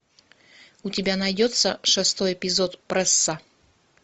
у тебя найдется шестой эпизод пресса